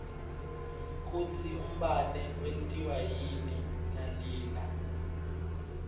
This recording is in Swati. kutsi umbane wentiwa yini nalina